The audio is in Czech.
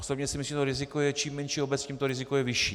Osobně si myslím, že čím menší obec, tím to riziko je vyšší.